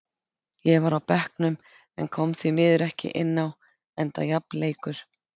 Ég var á bekknum en kom því miður ekki inn á enda jafn leikur.